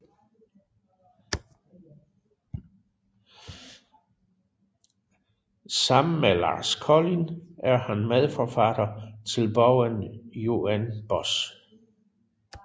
Sammen med Lars Kolind er han medforfatter til bogen UNBOSS